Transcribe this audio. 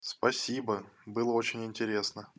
спасибо было очень интересно